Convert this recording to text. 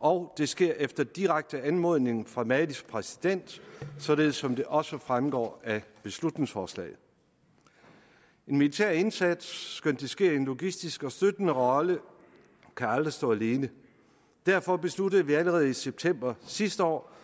og det sker efter direkte anmodning fra malis præsident således som det også fremgår af beslutningsforslaget en militær indsats skønt det sker i en logistisk og støttende rolle kan aldrig stå alene derfor besluttede vi allerede i september sidste år